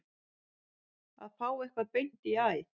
Að fá eitthvað beint í æð